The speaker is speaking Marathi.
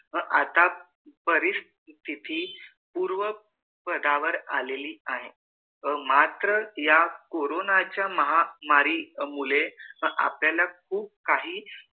अह आता परिस्थिती पूर्व पदा वर आलेली आहे मात्र या कोरोना च्या महामारी मुळे आपल्याला खूप काही